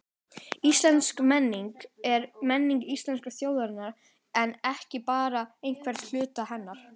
Íslensk menning er menning íslensku þjóðarinnar en ekki bara einhvers hluta hennar.